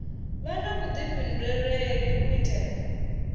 vha na vhuḓifhinduleli u itela